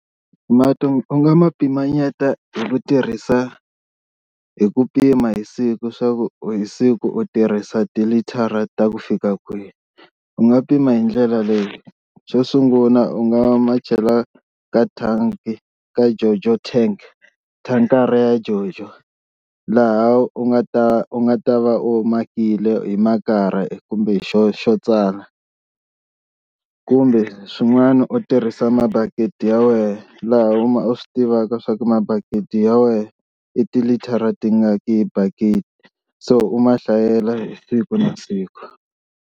Mati u nga ma pimanyetiwa hi ku tirhisa hi ku pima hi siku swa ku u hi siku u tirhisa tilithara ta ku fika kwihi, u nga pima hi ndlela leyi xo sungula u nga ma chela ka thangi ka Jojo Tank, thankara ya Jojo laha u nga ta u nga ta va u makile hi makara kumbe hi xo xo tsala kumbe swin'wana u tirhisa mabakiti ya wena laha u ma u swi tivaka swa ku mabakiti ya wena i tilithara tingaki hi bakiti, so u ma hlayela hi siku na siku.